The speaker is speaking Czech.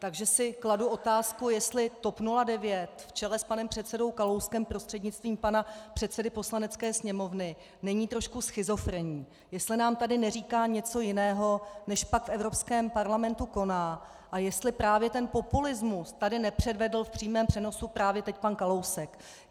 Takže si kladu otázku, jestli TOP 09 v čele s panem předsedou Kalouskem prostřednictvím pana předsedy Poslanecké sněmovny není trošku schizofrenní, jestli nám tady neříká něco jiného, než pak v Evropském parlamentu koná, a jestli právě ten populismus tady nepředvedl v přímém přenosu právě teď pan Kalousek.